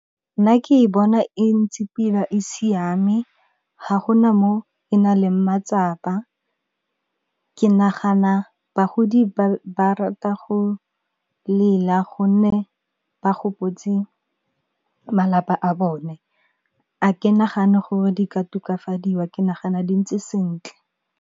Nna ke bona e ntse pila e siame ga gona mo e na leng matsapa, ke nagana bagodi ba rata go lela gonne ba gopotse malapa a bone. A ke nagane gore di ka tokafadiwa ke nagana di ntse sentle.